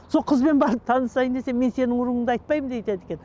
сол қызбен барып танысайын десем мен сенің руыңды айтпаймын деп айтады екен